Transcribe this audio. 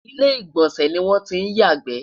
ilé igbọnsẹ ní wọn tí yà gbe